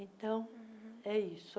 Então, é isso.